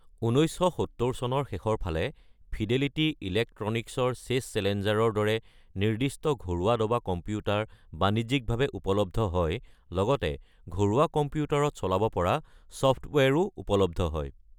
১৯৭০ চনৰ শেষৰ ফালে ফিডেলিটি ইলেক্ট্ৰনিকছৰ চেছ চেলেঞ্জাৰৰ দৰে নিৰ্দিষ্ট ঘৰুৱা দবা কম্পিউটাৰ বাণিজ্যিকভাৱে উপলব্ধ হয়, লগতে ঘৰুৱা কম্পিউটাৰত চলাব পৰা ছফ্টৱেৰো উপলব্ধ হয়।